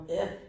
Ja